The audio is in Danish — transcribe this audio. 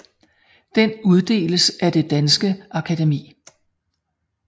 Den uddeles af Det danske Akademi